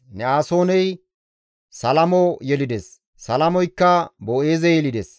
Ne7asooney Salamo yelides; Salamoykka Boo7eeze yelides.